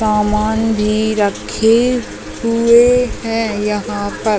सामान भी रखे हुए है यहाँ पर--